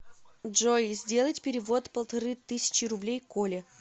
джой сделать перевод полторы тысячи рублей коле